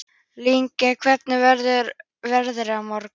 Lingný, hvernig verður veðrið á morgun?